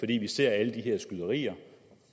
vi ser alle de her skyderier